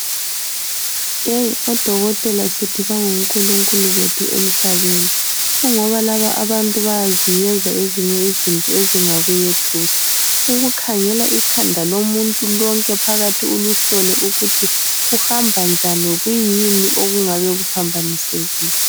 Odokotela sithi bangonkulunkulu bethu emhlabeni kungoba laba abantu bayaziyenza ezinye izinto ezingakuyethusa, ukukhangela ikhanda lomuntu lonke phakathi ulihlole ukuthi kuhamba njani kuyini okungabe kuphambanisekile.